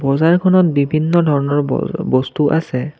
বজাৰখনত বিভিন্ন ধৰণৰ ব বস্তু আছে।